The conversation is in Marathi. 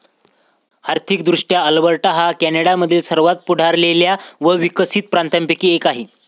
आर्थिक दृष्ट्या अल्बर्टा हा कॅनडामधील सर्वात पुढारलेल्या व विकसित प्रांतांपैकी एक आहे.